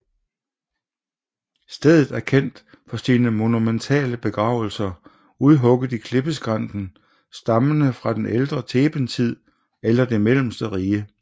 Stedet er kendt for sine monumentale begravelser udhugget i klippeskrænten stammende fra den ældre Thebentid eller det mellemste rige